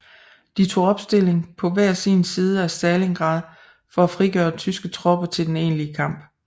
De tog opstilling på hver sin side af Stalingrad for at frigøre tyske tropper til den egentlige kamp